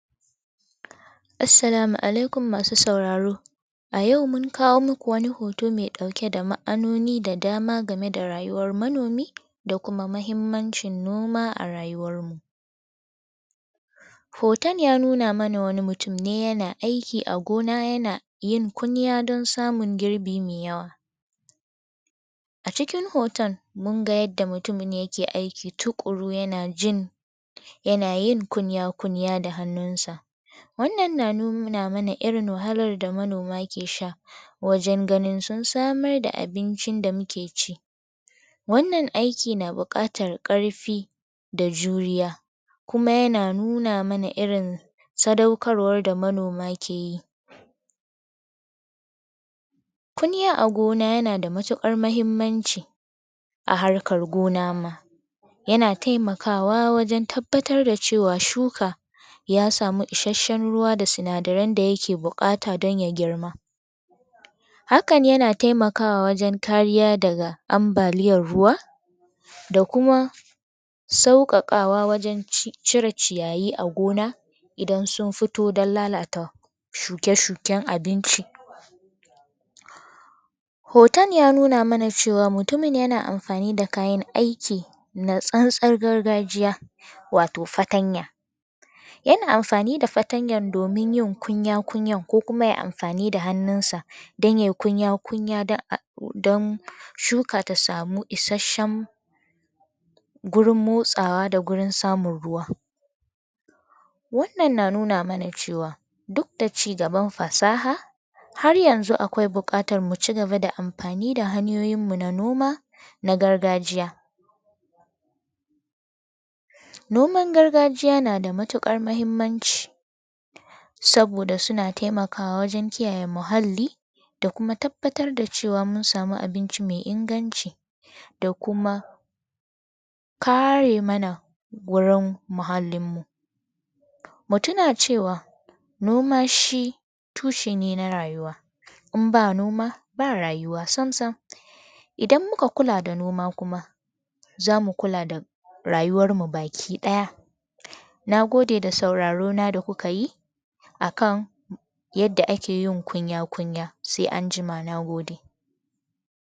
Assalamu Alaikum masu sauraro. A yau mun kawo muku wani hoto mai dauke da ma'anoni da dama game da rayuwan manomi, da kuma mahimmancin noma a rayuwar mu. Hoton ya nuna mana wani mutum ne yana aiki a gona, yana yin kunya don samun girbi mai yawa. A cikin hoton munga yanda mutumin yake aiki tukuru yana jin, yana yin kunya-kunya da hannun sa. Wannan na nuna mana irin wahalan da manoma ke sha wajen ganin sun sa mar da abincin da muke ci. Wannan aikin na bukatan karfi da juriya kuma yana nuna mana irin sadaukar war da manoma ke yi. Kunya a gona yana da matukar mahimmanci a harkar gona ma yana taimakawa wajen tabbatar da cewar shuka ya samu isasshen ruwa da sinadaren da yake bukata don ya girma. Hakan yana taimakawa wajen kariya daga ambaliyar ruwa, da kuma saukakawa wajen cire ciyayi a gona idan sun fito don lalata shuke-shuken abinci, hoton ya nuna mana mutumin yana amfani da kayan aiki na tsantsar gargajiya wato fatanya, yana amfani da fatanyan domin yin kunya kunya koh kuma yayi amfani da hannunsa dan yayi kunya kunya don shuka ya samu isasshen gurin motsawa da gurin samun ruwa, wannan na nuna mana cewa dukda cigaban fasaha har yanzu akwai bukatan mu cigaba da amfani da hanyoyinmu na noma na gargajiya Noman gargajiya nada matukar mahimmanci saboda suna taimakawa wajen kiyaye muhalli da kuma tabbatar da cewa mun samu abinci mai inganci da kuma kare mana wurin muhallinmu mu tuna cewa noma shi tushe ne na rayuwa in ba noma ba rayuwa sam-sam idan muka kula da noma kuma zamu kula rayuwar mu baki daya nagode da saurarona da kuka yi akan yadda ake kunya kunya sai anjima nagode